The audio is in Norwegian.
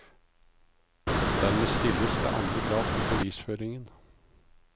Dermed stilles det andre krav til bevisføringen.